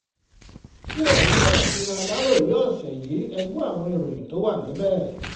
ṣé ẹ̀yin náà ti ra aláròye ọ̀sẹ̀ yìí e gbọ́ àwọn ìròyìn tó wà níbẹ̀